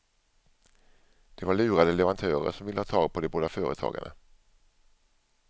Det var lurade leverantörer som ville ha tag på de båda företagarna.